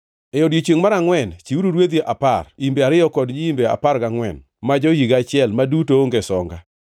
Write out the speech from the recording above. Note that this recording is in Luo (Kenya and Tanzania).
“ ‘E odiechiengʼ mar angʼwen chiwuru rwedhi apar, imbe ariyo kod nyiimbe apar gangʼwen ma jo-higa achiel, ma duto onge songa.